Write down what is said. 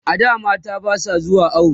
a da mata Basu zuwa awo